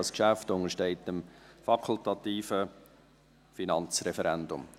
Dieses Geschäft untersteht dem fakultativen Finanzreferendum.